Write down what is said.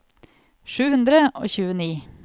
sju hundre og tjueni